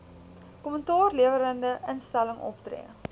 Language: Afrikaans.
kommentaarlewerende instelling optree